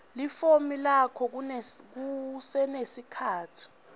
lifomu lakho kusenesikhatsi